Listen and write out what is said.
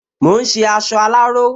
Mò ún ṣe aṣọ aláró